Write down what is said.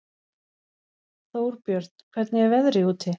Þórbjörn, hvernig er veðrið úti?